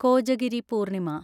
Kojagiri Purnima